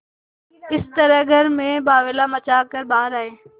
इस तरह घर में बावैला मचा कर बाहर आये